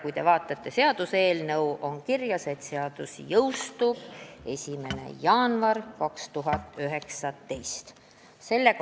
Kui te vaatate seaduseelnõu, siis seal on kirjas, et seadus ise jõustub 9. veebruaril 2019.